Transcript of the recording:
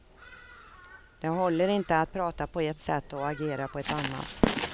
Det håller inte att prata på ett sätt och agera på ett annat.